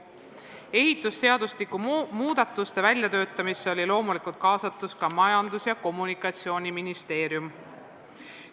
Ehitusseadustiku muudatuste väljatöötamisse oli loomulikult kaasatud ka Majandus- ja Kommunikatsiooniministeerium.